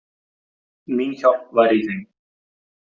Mín hjálp væri í þeim.